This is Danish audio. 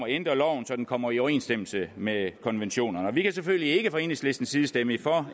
ændre loven så den kommer i overensstemmelse med konventionerne vi kan selvfølgelig ikke fra enhedslistens side stemme for